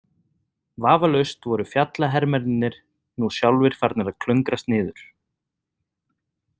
Vafalaust voru fjallahermennirnir nú sjálfir farnir að klöngrast niður.